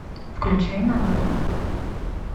включай новеллу